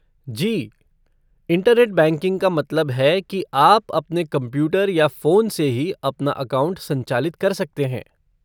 जी, internet banking का मतलब है कि आप अपने कंप्यूटर या फ़ोन से ही अपना अकाउंट संचालित कर सकते हैं।